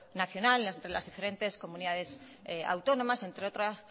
nacional entre las diferentes comunidades autónomas entre otras